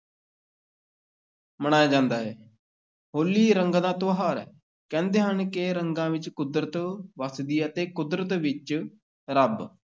ਮਨਾਇਆ ਜਾਂਦਾ ਹੈ, ਹੋਲੀ ਰੰਗਾਂ ਦਾ ਤਿਉਹਾਰ ਹੈ, ਕਹਿੰਦੇ ਹਨ ਕਿ ਰੰਗਾਂ ਵਿੱਚ ਕੁਦਰਤ ਵੱਸਦੀ ਹੈ ਤੇ ਕੁਦਰਤ ਵਿੱਚ ਰੱਬ।